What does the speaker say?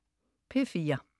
P4: